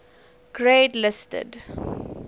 grade listed